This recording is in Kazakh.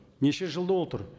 неше жыл отыр